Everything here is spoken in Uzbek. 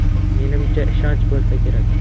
Menimcha, ishonch bo‘lsa kerak.